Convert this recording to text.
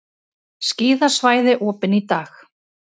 Skíðasvæði opin í dag